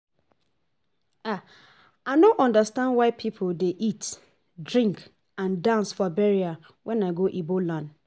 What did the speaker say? I no understand why people dey eat, drink and dance for burial wen I go Igbo land